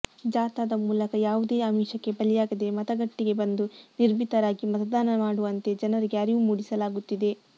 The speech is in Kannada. ಜಾಥಾದ ಮೂಲಕ ಯಾವುದೇ ಆಮಿಷಕ್ಕೆ ಬಲಿಯಾಗದೆ ಮತಗಟ್ಟೆಗೆ ಬಂದು ನಿರ್ಭೀತರಾಗಿ ಮತದಾನ ಮಾಡುವಂತೆ ಜನರಿಗೆ ಅರಿವು ಮೂಡಿಸಲಾಗುತ್ತಿದೆ